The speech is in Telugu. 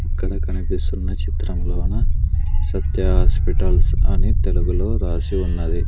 ఇక్కడ కనిపిస్తున్న చిత్రంలోన సత్య హాస్పిటల్స్ అని తెలుగులో రాసి ఉన్నది.